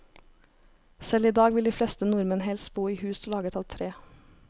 Selv i dag vil de fleste nordmenn helst bo i hus laget av tre.